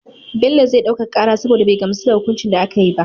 Bello zai ɗaukaka kara saboda be gamsu da hukuncin da akayi ba